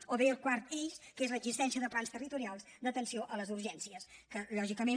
o bé el quart eix que és l’existència de plans territorials d’atenció a les urgències que lògicament